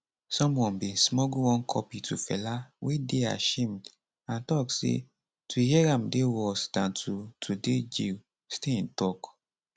someone bin smuggle one copy to fela wey dey ashamed and tok say to hear am dey worse dan to to dey jail stein tok